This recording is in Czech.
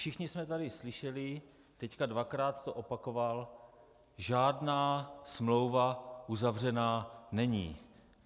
Všichni jsme tady slyšeli, teď dvakrát to opakoval: Žádná smlouva uzavřena není.